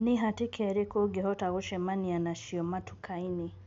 Ni hatika irĩkũ ũngihota kucemania nacio matuka-ini.